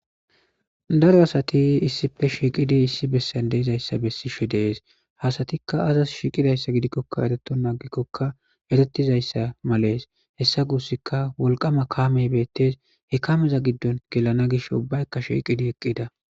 Daro asati issipe shiiqidi issi besan dizaysa besses ha asatika azas shiqidi gizays eretonta agikoka hesa gusika woqsma kamey beetes he kameza he kameza gidon gelan gishe ubayka shiwidi eqida